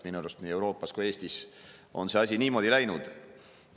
Minu arust on nii Euroopas kui ka Eestis see asi niimoodi läinud.